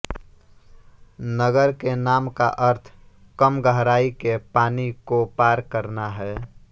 नगर के नाम का अर्थ कम गहराई के पानी को पार करना है